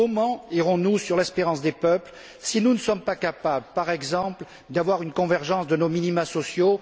Comment répondrons nous aux attentes des peuples, si nous ne sommes pas capables, par exemple, d'assurer une convergence de nos minimas sociaux?